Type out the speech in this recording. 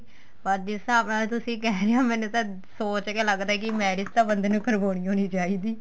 ਪਰ ਜਿਸ ਹਿਸਾਬ ਨਾਲ ਤੁਸੀਂ ਕਹਿ ਰਹੇ ਓ ਮੈਨੂੰ ਤਾਂ ਸੋਚ ਕੇ ਲੱਗਦਾ marriage ਤਾਂ ਬੰਦੇ ਨੂੰ ਕਰਵਾਉਣੀ ਓ ਨਹੀਂ ਚਾਹੀਦੀ